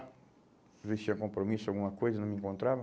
às vezes tinha compromisso, alguma coisa, não me encontrava.